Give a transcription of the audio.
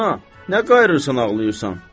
Ana, nə qayıırırsan ağlayırsan?